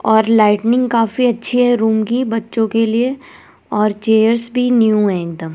और लाइटनिंग काफी अच्छी है रूम की बच्चों के लिए और चेयर्स भी न्यू है एकदम।